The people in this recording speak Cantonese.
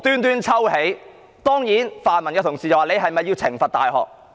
當然，泛民同事問這是否要懲罰大學？